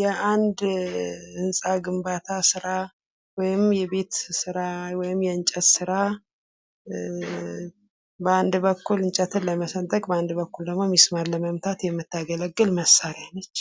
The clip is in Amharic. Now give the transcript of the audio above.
የአንድ ህንጻ ግንባታ ስራ ወይም የቤት ስራ ወይም የእንጨት ስራ በአንድ በኩል እንጨትን ለመሰንጠቅ በአንድ በኩል ደግሞ ሚስማርን ለመምታት የምታገለግል መሳሪያ ናት።